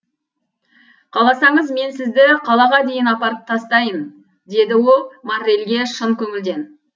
қаласаңыз мен сізді қалаға дейін апарып тастайын деді ол моррельге шын көңілден